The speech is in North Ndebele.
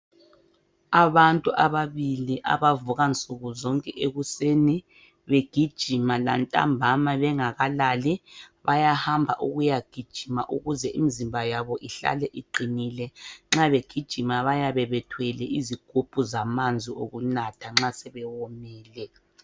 Abantu ababili abavuka nsukuzonke ekuseni begijima lantambama bengakalali bayahamba ukuya gijima ukuze imzimba yabo ihlale iqinile nxa begijima bayabe bethwele izigubhu zamanzi okunatha nxa sebewomile.